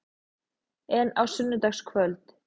En á sunnudagskvöld?